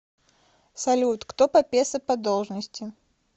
салют кто папесса по должности